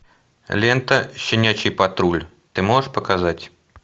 лента щенячий патруль ты можешь показать